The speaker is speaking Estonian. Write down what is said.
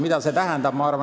Mida see tähendab?